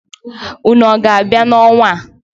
Unu a ga-abia n'ọnwa a?